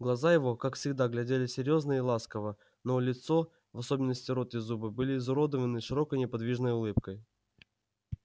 глаза его как всегда глядели серьёзно и ласково но лицо в особенности рот и зубы были изуродованы широкой неподвижной улыбкой